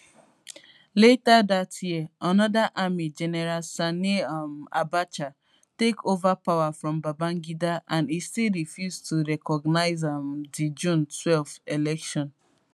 later dat year anoda army general sani um abacha take ova power from babangida and e still refuse to recognise um di june twelve election